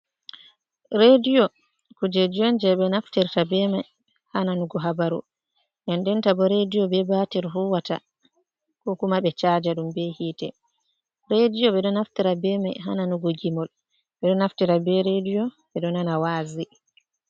Reediyo kujeji on, jey ɓe naftirta ɓe may haa nanugo habaru. Ndenndenta bo reediyo be batir huuwata, ko kuma be caaja ɗum be yiite. Reediyo ɓe ɗo naftira be may, haa nanugo gimol, ɓe ɗo naftira be reediyo ɓe ɗo nana waazi.